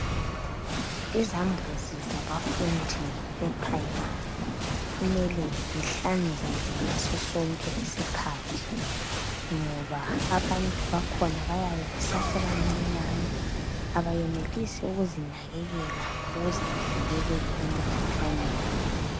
Izambuzi zabafundi e primary kumele zihlanzeke ngasosonke isiskhathi ngoba abantu bakhona bayabe besasebancinyane abayenelisi ukuzinakekela ukuze bavikeleke emkhuhlaneni